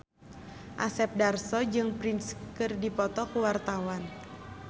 Asep Darso jeung Prince keur dipoto ku wartawan